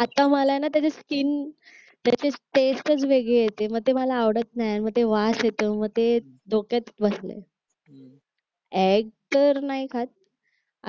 आता मला आहे ना त्याची स्किन त्याची टेस्ट वेगळी येते म्हणजे मला आवडत नाही मग ते वास येतो म ते डोक्यात बसलय एग्ज तर नाही खात